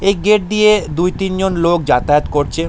এই গেট দিয়ে দুই তিন জন লোক যাতায়াত করছে।